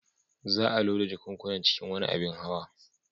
Za a loda jakunkunan cikin wani abin hawa.